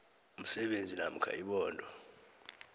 umsebenzi namkha ibhodo